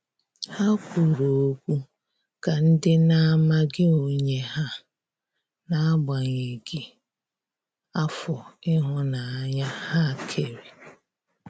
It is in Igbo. Ha kwụrụ ọkwụ ka ndi na amaghị onye ha, n'agbanyeghi afọ ihunanya ha kere.